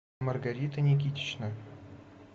маргарита никитична